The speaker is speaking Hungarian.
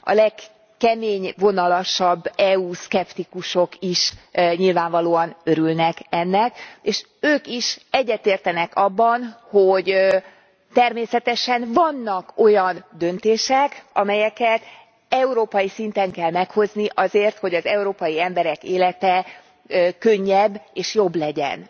A legkeményvonalasabb EU szkeptikusok is nyilvánvalóan örülnek ennek, és ők is egyetértenek abban, hogy természetesen vannak olyan döntések, amelyeket európai szinten kell meghozni azért, hogy az európai emberek élete könnyebb és jobb legyen.